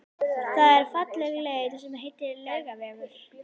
Það er falleg leið sem heitir Laugavegur.